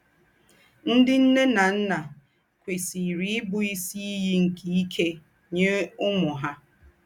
Ńdị́ ńne ná ńnà kwèsìrì íbù ísì ìyì nke íkè nyé úmù hà.